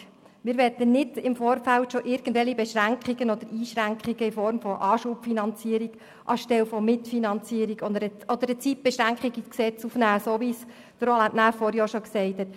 Wir möchten im Vorfeld nicht irgendwelche Beschränkungen oder Einschränkungen in Form einer Anschubfinanzierung anstelle einer Mitfinanzierung oder eine Zeitbeschränkung ins Gesetz aufnehmen, wie dies Roland Näf vorhin erwähnt hat.